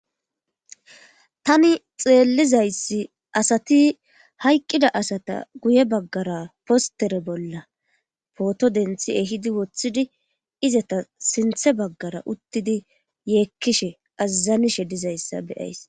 Tani xeellizayssi asati hayqqida asata guye baggara postere bolla pooto denthi ehidi woththidi izata sinthe baggara uttidi yeekkishe azazanishe dizayssa beyays